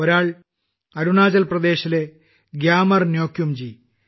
ഒരാൾ അരുണാചൽ പ്രദേശിലെ ഗ്യാമർന്യോകുംജി